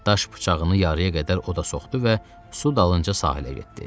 Daş bıçağını yarıya qədər oda soxdu və su dalınca sahilə getdi.